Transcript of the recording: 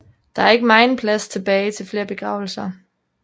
Der er ikke megen plads tilbage til flere begravelser